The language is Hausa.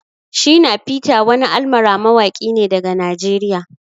Shina peter wani almara mawaki ne daga Najeriya.